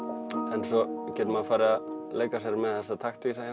en svo getur maður farið að leika sér með þessa takta eins